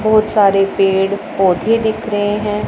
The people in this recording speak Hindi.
बहुत सारे पेड़ पौधे दिख रहे हैं।